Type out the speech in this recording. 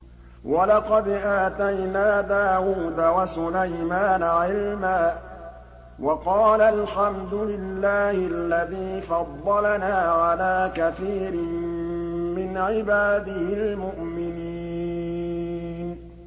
وَلَقَدْ آتَيْنَا دَاوُودَ وَسُلَيْمَانَ عِلْمًا ۖ وَقَالَا الْحَمْدُ لِلَّهِ الَّذِي فَضَّلَنَا عَلَىٰ كَثِيرٍ مِّنْ عِبَادِهِ الْمُؤْمِنِينَ